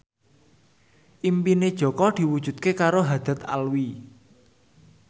impine Jaka diwujudke karo Haddad Alwi